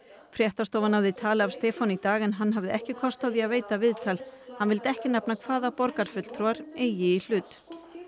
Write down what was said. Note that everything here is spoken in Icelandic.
fréttastofa náði tali af Stefáni í dag en hann hafði ekki kost á því að veita viðtal hann vildi ekki nefna hvaða borgarfulltrúar eigi í hlut